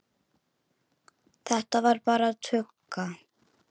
Þetta var bara tugga.